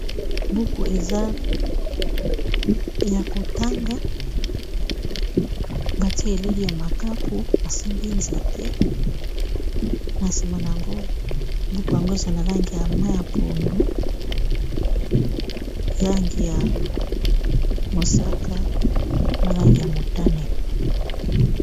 buku eza ya kotanga bati elili ya makaku esimbi nzete na sima na yango buku yango eza na langi ya mai ya pondu, langi ya mosaka na langi ya motane.